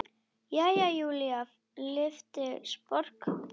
Jæja, Júlía lyfti sposk brúnum.